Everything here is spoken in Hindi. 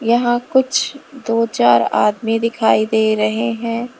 यहां कुछ दो चार आदमी दिखाई दे रहे हैं।